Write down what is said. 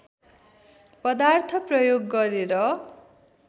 पदार्थ प्रयोग गरेर